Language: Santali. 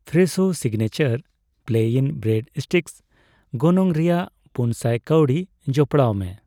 Fresho signature plain bread sticks ᱜᱚᱱᱚᱝ ᱨᱮᱭᱟᱜ ᱯᱩᱱᱥᱟᱭ ᱠᱟᱣᱰᱤ ᱡᱚᱯᱚᱲᱟᱣᱢᱮ